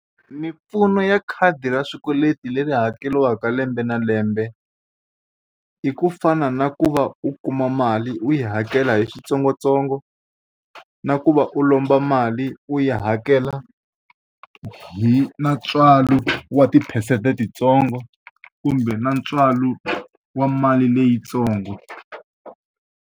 Mimpfuno ya khadi ra xikweleti leri hakeriwaka lembe na lembe, i ku fana na ku va u kuma mali u yi hakela hi switsongotsongo, na ku va u lomba mali u yi hakela hi na ntswalo wa tiphesente ti ntsongo, kumbe na ntswalo wa mali leyitsongo.